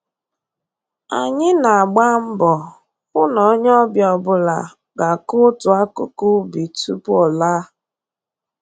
Anyị na-agba mbọ hụ n'onye ọbịa ọbụla ga-akụ otu akụkụ ubi tupu ọ laa